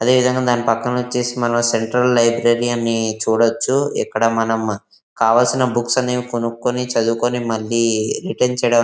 అదే విధంగా దాని పక్కన వచ్చేసి సెంట్రల్ లైబ్రరీ ని చోడోచ్చు. ఇక్కడ మనం కావాల్సిన బుక్స్ కొనుక్కొని చదివుకోని రిటర్న్ --